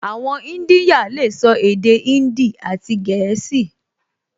Àwọn ìdínyà lè sọ èdè índì àti gẹ̀ẹ́sì